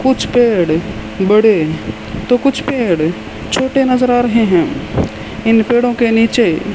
कुछ पेड़ बड़े तो कुछ पेड़े छोटे नज़र आ रहे है इन पेड़ो के नीचे --